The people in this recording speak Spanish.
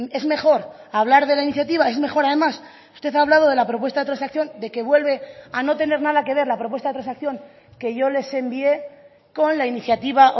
es mejor hablar de la iniciativa es mejor además usted ha hablado de la propuesta de transacción de que vuelve a no tener nada que ver la propuesta de transacción que yo les envíe con la iniciativa